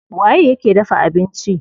Waye yake dafa abinci?